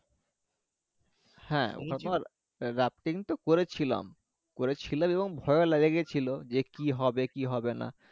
হ্যাঁ rafting তো করেছিলাম করেছিলাম এবং ভয়ও লেগেছিলো যে কি হবে কি হবেনা